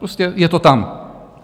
Prostě je to tam.